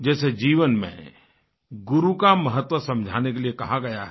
जैसे जीवन में गुरु का महत्व समझाने के लिए कहा गया है